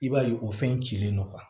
I b'a ye o fɛn cilen don